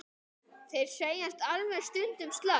Þeir segjast alveg stundum slást.